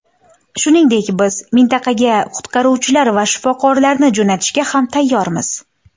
Shuningdek, biz mintaqaga qutqaruvchilar va shifokorlarni jo‘natishga ham tayyormiz.